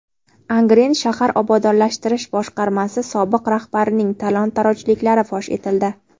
Angren shahar obodonlashtirish boshqarmasi sobiq rahbarining talon-torojliklari fosh etildi.